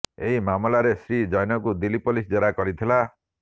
ଏହି ମାମଲାରେ ଶ୍ରୀ ଜୈନଙ୍କୁ ଦିଲ୍ଲୀ ପୋଲିସ୍ ଜେରା କରିଥିଲା